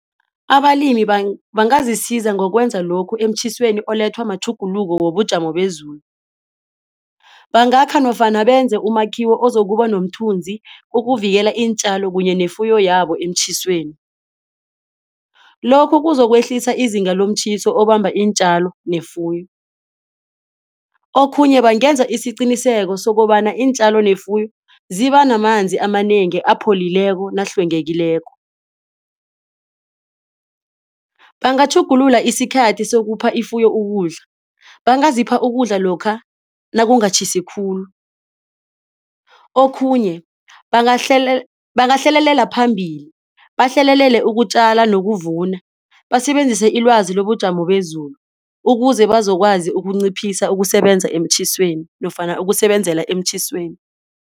Abalimi bangazisiza ngokwenza lokhu emtjhisweni olethwa matjhuguluko wobujamo bezulu. Bangakha nofana benze umakhiwo ozokuba nomthunzi ukuvikela iintjalo kunye nefuyo yabo emtjhisweni. Lokhu kuzokwehlisa izinga lomtjhiso obamba iintjalo nefuyo. Okhunye bangenza isiqiniseko sokobana iintjalo nefuyo zibanamanzi amanengi apholileko nahlwengekileko. Bangatjhugulula isikhathi sokupha ifuyo ukudla bangazipha ukudla lokha nakutjhisi khulu. Okhunye bangahlelelela phambili bahlelelele ukutjala nokuvuna. Basebenzisa ilwazi lobujamo bezulu ukuze bazokwazi ukunciphisa ukusebenza emtjhisweni nofana ukusebenzela emtjhisweni.